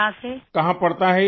मोदी जी कहाँकहाँ पड़ता है ये